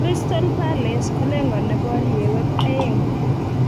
crystal palace kolengani boriewek aeng.